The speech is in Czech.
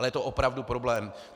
Ale je to opravdu problém.